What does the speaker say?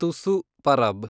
ತುಸು ಪರಬ್